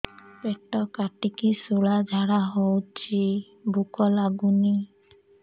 ପେଟ କାଟିକି ଶୂଳା ଝାଡ଼ା ହଉଚି ଭୁକ ଲାଗୁନି